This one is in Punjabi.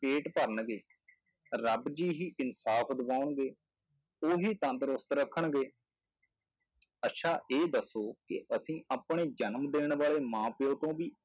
ਪੇਟ ਭਰਨਗੇ, ਰੱਬ ਜੀ ਹੀ ਇਨਸਾਫ਼ ਦਿਵਾਉਣਗੇ, ਉਹੀ ਤੰਦਰੁਸਤ ਰੱਖਣਗੇ ਅੱਛਾ ਇਹ ਦੱਸੋ ਕਿ ਅਸੀਂ ਆਪਣੇ ਜਨਮ ਦੇਣ ਵਾਲੇ ਮਾਂ ਪਿਓ ਤੋਂ ਵੀ